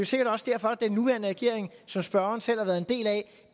sikkert også derfor den nuværende regering som spørgeren selv har været en del af